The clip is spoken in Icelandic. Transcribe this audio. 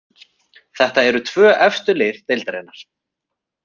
Þetta eru tvö efstu lið deildarinnar.